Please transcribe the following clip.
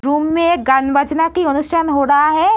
Room में गानबजना हो रहा है।